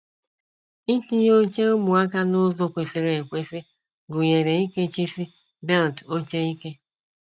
Itinye oche ụmụaka n’ụzọ kwesịrị ekwesị gụnyere ikechisi belt oche ike